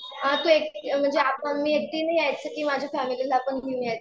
हां म्हणजे आता मी एकटीने यायचं की माझ्या फॅमिलीला पण घेऊन यायचं?